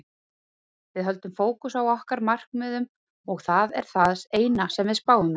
Við höldum fókus á okkar markmiðum og það er það eina sem við spáum í.